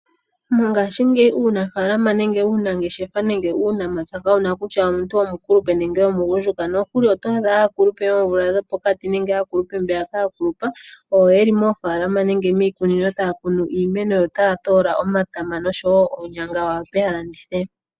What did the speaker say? Mongashingeyi uunafaalama nenge uunangeshefa nenge uunamapya kawuna kutya omuntu omukulupe nenge omugundjuka nokuli oto adha aakulupe yoomvula dhopokati nenge aakulupe mbeya yakulupa oyo yeli moofaalama nenge yeli miikunino taya kunu iimeno yo otaya toola omatama osho wo oonyanga yawape yalandithe.